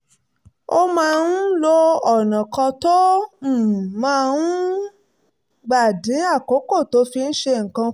ó máa ń lo ọ̀nà kan tó um máa ń um gbà dín àkókò tó fi ń ṣe nǹkan kù